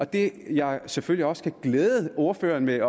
det jeg selvfølgelig også kan glæde ordføreren med